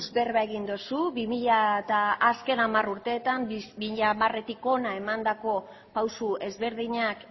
berba egin duzu bi mila eta azken hamar urteetan bi mila hamaretik hona emandako pausu ezberdinak